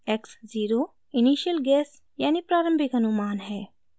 x0 : initial गेसguessयानि प्रारम्भिक अनुमान है